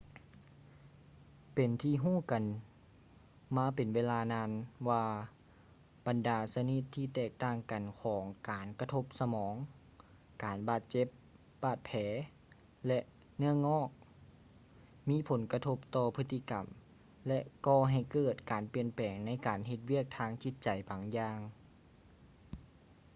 ເປັນທີ່ຮູ້ກັນມາເປັນເວລານານວ່າ ບັນດາຊະນິດທີ່ແຕກຕ່າງກັນຂອງການກະທົບສະໝອງ ການບາດເຈັບ ບາດແຜ ແລະ ເນື້ອງອກ ມີຜົນກະທົບຕໍ່ພຶດຕິກຳ ແລະ ກໍ່ໃຫ້ເກີດການປ່ຽນແປງໃນການເຮັດວຽກທາງຈິດໃຈບາງຢ່າງ